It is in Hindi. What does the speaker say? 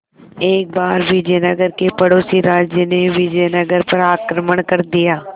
एक बार विजयनगर के पड़ोसी राज्य ने विजयनगर पर आक्रमण कर दिया